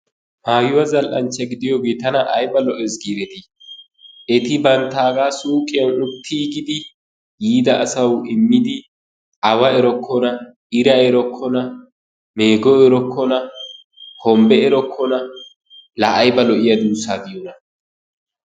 Maayuwa zal"anchancha gidiyoogee tana ayba lo'ees giidetiti! Eti banttaaga suuqiyan uttiigidi yiida asawu immidi awa erokkona, ira erokkona, meego erokkona, hombbe erokkona laa ayba lo"iyaa duussaa diyoona!